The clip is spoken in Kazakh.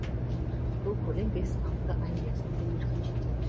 бұл көлем бес алты ай мерзімге еркін жетеді